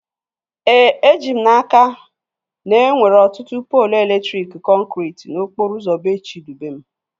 Eji m n'aka, na enwere ọtụtụ poolu elektriki kọnkriti n'okporo ụzọ bee Chidubem